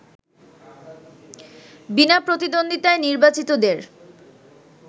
বিনা প্রতিদ্বন্দ্বিতায় নির্বাচিতদের